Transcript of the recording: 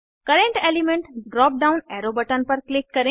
current element drop down arrow button पर click करें